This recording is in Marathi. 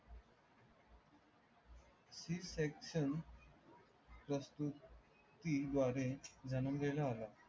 सी सेक्शन प्रकृती द्वारे जन्मलेला आला.